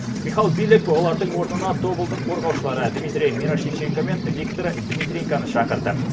михал билек олардың орнына тобылдың қорғаушылары дмитрий мирошниченко мен виктор дмитренконы шақырды